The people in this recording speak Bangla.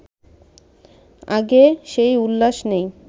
আগের সেই উল্লাস নেই